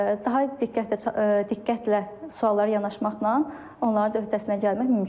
Daha diqqətlə, diqqətlə suallara yanaşmaqla onların da öhdəsindən gəlmək mümkündür.